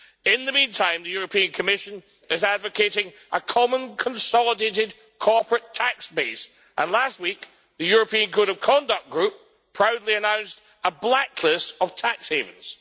In the meantime, the European Commission is advocating a common consolidated corporate tax base and last week the European Code of Conduct Group proudly announced a blacklist of tax havens.